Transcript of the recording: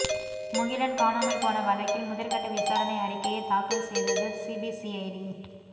முகிலன் காணாமல் போன வழக்கில் முதற்கட்ட விசாரணை அறிக்கையை தாக்கல் செய்தது சிபிசிஐடி